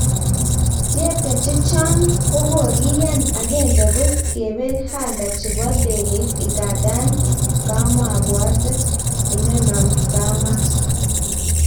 Tyepta chechaaang kokokiyaan ,agenge ko kepel hanga chepo ndegeit ,ingandan kampwatet inano kamas